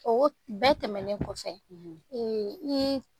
Bɛɛ tɛmɛnen kɔfɛ, . I ye